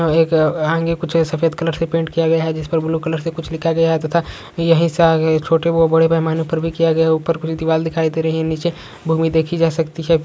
एक कुछ सफ़ेद कलर से प्रिंट किया गया है जिस पर ब्लू कलर से कुछ लिखा गया है तथा यही से आगे छोटे व बड़े पैमाने पर ऊपर किया गया है ऊपर वाल दिखाई दे रहे है नीचे भूमि देखी जा सकती है।